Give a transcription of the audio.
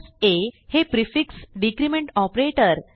a हे prefix decrement operator